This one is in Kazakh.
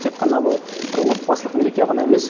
тек қана бұл бір отбасылық мереке ғана емес